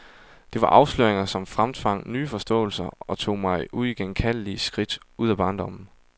Det var afsløringer som fremtvang nye forståelser, og tog mig uigenkaldelige skridt ud af barndommen.